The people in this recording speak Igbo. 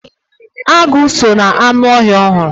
Agu so na anụ ọhịa ohuru.